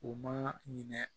U ma minɛ